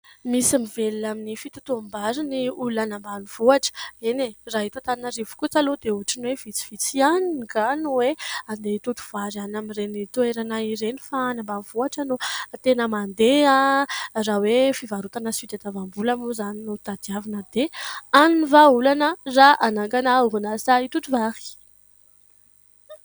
Misy mivelona amin'ny fitotoam-bary ny olona any ambanivohitra. Eny e ! Raha eto Antananarivo kosa aloha dia ohatriny hoe vitsivitsy ihany angaha no hoe handeha hitoto-vary any amin'ireny toerana ireny ; fa any ambanivohitra no tena mandeha raha hoe fivarotana sy fitadiavam-bola moa izany no tadiavina dia any ny vahaolana raha hanangana orinasa hitoto-vary.